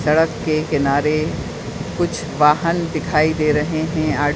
सड़क के किनारे कुछ वाहन दिखाई दे रहे हैं। आर् --